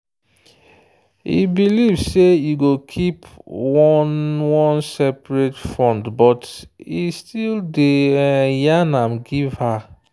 e believe say e go keep one one seperate fundbut e still day yan am give her.